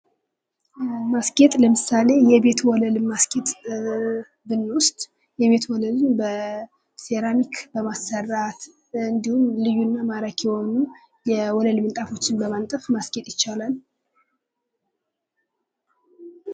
ማስጌጥ ለምሳሌ የቤት ወለልን ማስጌጥ ብንወስድ የቤት ወለልን በሴራሚ በማሰራት እንዲሁም ልዩና ማራኪ የሆኑ የወለል ምንጣፎችን በማንጠፍ ማስጌጥ ይቻላል ።